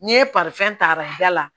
N'i ye ta ka da la